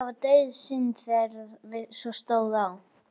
Nei, það var dauðasynd þegar svo stóð á.